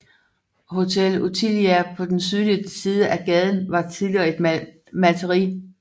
Hotel Ottilia på den sydlige side af gaden var tidligere et malteri